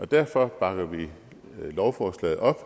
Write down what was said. derfor bakker vi lovforslaget op